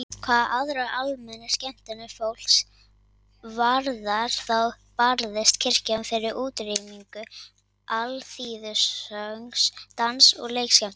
Hvað aðrar almennar skemmtanir fólks varðar þá barðist kirkjan fyrir útrýmingu alþýðusöngs, dans- og leikskemmtana.